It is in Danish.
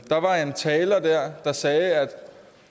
taler sagde at